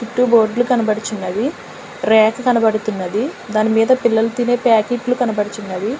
చుట్టూ బోర్డ్లు కనబడుచున్నవి ర్యాక్స్ కనబడుతున్నది దానిమీద పిల్లల తినే ప్యాకెట్లు కనబడుచున్నవి.